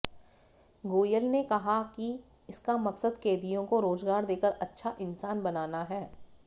गोयल ने कहा कि इसका मकसद कैदियों को रोजगार देकर अच्छा इंसान बनाना है